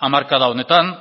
hamarkada honetan